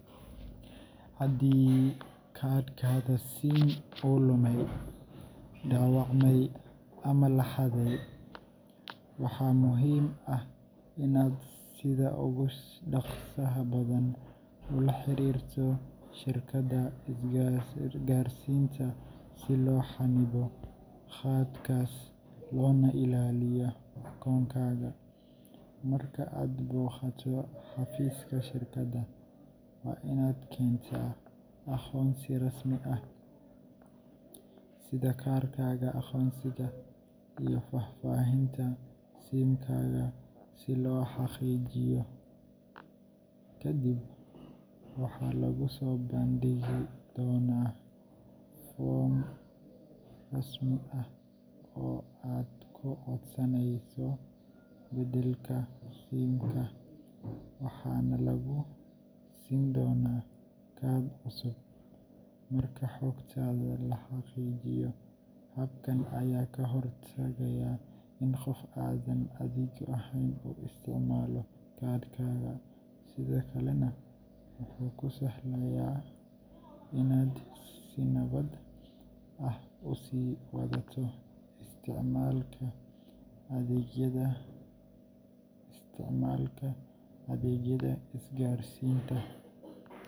Sukumawiki waa khudaar caan ah oo si weyn looga isticmaalo suuqyada iyo guryaha ku yaalla Bariga Afrika. Dadka qaar waxay doorbidaan inay ka iibsadaan sukumawiki gebi ahaan suuqa, si ay iyagu guryahooda ugu jarjaraan, taasoo ka dhigaysa mid cusub oo dhadhan fiican leh. Qaarkoodna waxay ka iibsadaan mid hore loo jarjaray, gaar ahaan haddii ay doonayaan in ay waqtiga kaydsadaan oo ay si degdeg ah u karikaraan. Labada noocba waxay leeyihiin faa’iidooyin u gaar ah, waxaana doorashada ku xiran tahay baahida qofka iyo xaaladda uu ku sugan yahay. Suuqyada maxalliga ah ayaa badiyaa laga helaa labada nooc, taasoo dadka siinaysa doorashooyin kala duwan oo waafaqsan nolol maalmeedkooda.